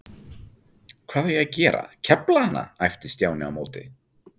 Hvað á ég að gera, kefla hana? æpti Stjáni á móti.